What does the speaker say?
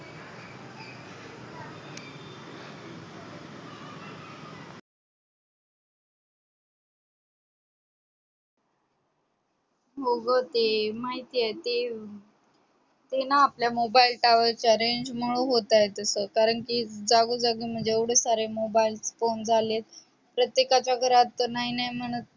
हो ग ते माहिती आहे ते तेना आपल्या मोबाइल towers च्या range मुळ होतय तस कारण कि जागोजागी एवढे तसे mobile phone झालेत प्रत्येकाच्या घरात नाही नाही म्हणत